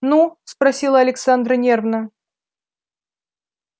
ну спросила александра нервно